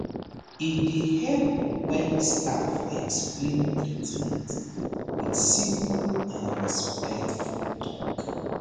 e dey help when staff explain treatment with simple and respectful talk